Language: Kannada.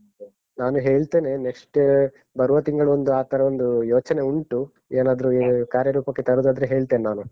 ನಾನ್ ಹೇಳ್, ನಾನು ಹೇಳ್ತೇನೆ. next ಬರುವ ತಿಂಗಳೊಂದು ಆತರ ಒಂದು ಯೋಚನೆ ಉಂಟು ಏನಾದ್ರೂ ಕಾರ್ಯರೂಪಕ್ಕೆ ತರುದಾದ್ರೆ ಹೇಳ್ತೇನ್ ನಾನು.